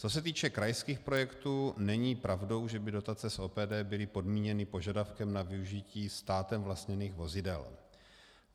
Co se týče krajských projektů, není pravdou, že by dotace z OPD byly podmíněny požadavkem na využití státem vlastněných vozidel.